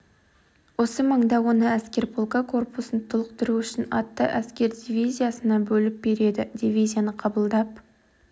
осы маңда оны әскер полкі корпусын толықтыру үшін атты әскер дивизиясына бөліп береді дивизияны қабылдап